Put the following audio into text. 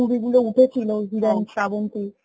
movie গুলো উঠেছিল শ্রাবন্তী